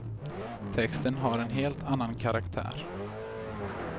Texten har en helt annan karaktär.